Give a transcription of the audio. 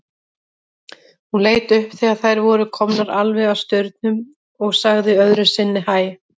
Hún leit upp þegar þær voru komnar alveg að staurnum og sagði öðru sinni hæ.